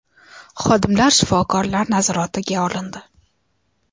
Xodimlar shifokorlar nazoratiga olindi.